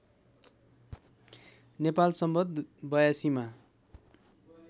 नेपाल सम्वत ८२ मा